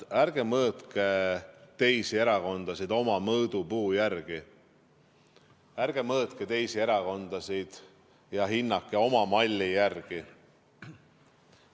Ärge mõõtke teisi erakondi oma mõõdupuu järgi, ärge mõõtke ega hinnake teisi erakondi oma malli järgi.